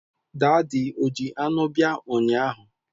Daadi o ji anụ bia ụnyaahụ?